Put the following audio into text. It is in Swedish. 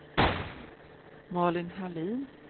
Malin Hallin